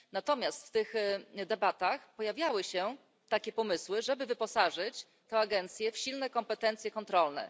Natomiast w tych debatach pojawiały się takie pomysły, żeby wyposażyć tę agencję w silne kompetencje kontrolne.